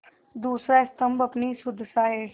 दूसरा स्तम्भ अपनी सुदशा है